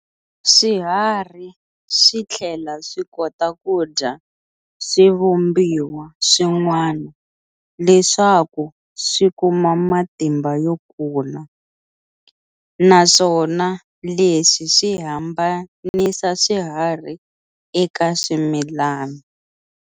Swiharhi swithlela swi kota kudya swivumbiwa swin'wana leswaku swi kuma matimba yo kula, naswona leswi swi hambanisa swiharhi eka swimilana.